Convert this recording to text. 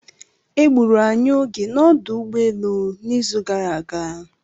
E gburu anyị oge na ọdụ ụgbọelu n'izu gara aga.